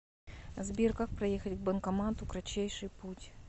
сбер как проехать к банкомату кратчайший путь